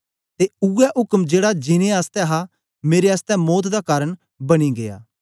ते ऊऐ उक्म जेड़ा जीनें आसतै हा मेरे आसतै मौत दा कारन बनी गीया